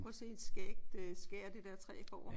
Prøv at se et skægt skær det der træ får